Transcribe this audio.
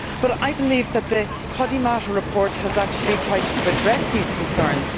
But I believe that the Podimata report has actually tried to address these concerns.